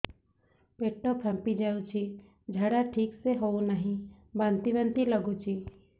ପେଟ ଫାମ୍ପି ଯାଉଛି ଝାଡା ଠିକ ସେ ହଉନାହିଁ ବାନ୍ତି ବାନ୍ତି ଲଗୁଛି